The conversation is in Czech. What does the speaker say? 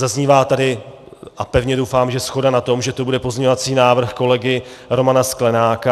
Zaznívá tady, a pevně doufám, že shoda na tom, že to bude pozměňovací návrh kolegy Romana Sklenáka.